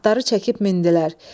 Atları çəkib mindilər.